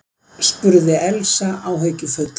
spurði Elsa áhyggjufull.